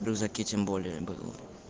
в рюкзаке тем более было